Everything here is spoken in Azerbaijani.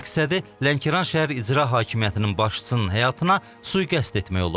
Məqsədi Lənkəran şəhər İcra Hakimiyyətinin başçısının həyatına sui-qəsd etmək olub.